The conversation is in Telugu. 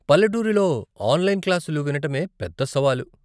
పల్లెటూరిలో ఆన్లైన్ క్లాసులు వినటమే పెద్ద సవాలు.